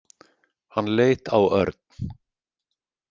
Hann leit á Örn.